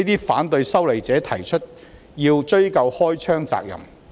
反對修例者提出要"追究開槍責任"。